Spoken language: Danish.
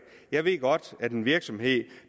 jeg ved godt at en virksomhed